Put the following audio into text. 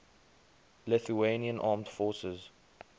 lithuanian armed forces